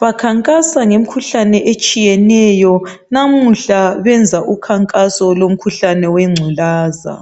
Bakhankasa ngemikhuhlane etshiyeneyo namuhla benza umkhankaso womkhuhlane wengculaza